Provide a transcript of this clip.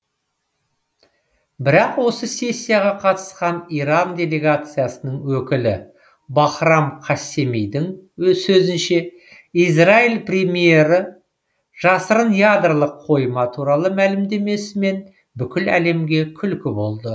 бірақ осы сессияға қатысқан иран делегациясының өкілі бахрам қассемидің сөзінше израиль премьері жасырын ядролық қойма туралы мәлімдемесімен бүкіл әлемге күлкі болды